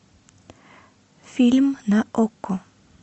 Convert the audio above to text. фильм на окко